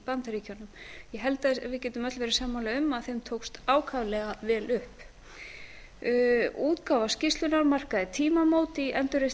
bandaríkjunum ég held að við getum öll verið sammála um að þeim tókst ákaflega vel upp útgáfa skýrslunnar markaði tímamót í endurreisn